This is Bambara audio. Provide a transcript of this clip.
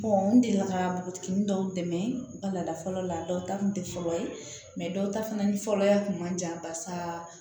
n delila ka npogotiginin dɔw dɛmɛ bala fɔlɔ la dɔw ta kun te fɔlɔ ye dɔw ta fana ni fɔlɔ ya kun man di yan barisa